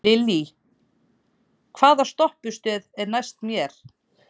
Lillý, hvaða stoppistöð er næst mér?